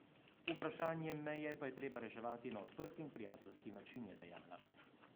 Vprašanje meje pa je treba reševati na odprt in prijateljski način, je dejala.